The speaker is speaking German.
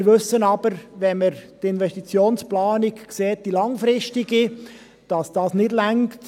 Wir wissen aber, wenn wir die langfristige Investitionsplanung sehen, dass das nicht reicht.